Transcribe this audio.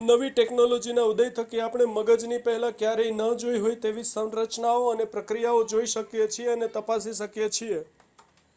નવી ટેક્નોલોજીઓના ઉદય થકી આપણે મગજની પહેલાં ક્યારેય ન જોઈ હોય તેવી સંરચનાઓ અને પ્રક્રિયાઓ જોઈ શકીએ છીએ અને તપાસી શકીએ છીએ